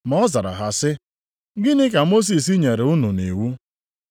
Ma ọ zara ha sị, “Gịnị ka Mosis nyere unu nʼiwu?”